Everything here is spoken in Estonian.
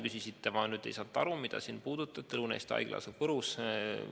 Küsisite veel Lõuna-Eesti Haigla kohta, see asub Võrus.